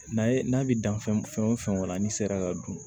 N'a ye n'a bɛ dan fɛn fɛn la n'i sera ka dun